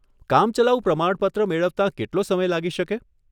કામચલાઉ પ્રમાણપત્ર મેળવતાં કેટલો સમય લાગી શકે?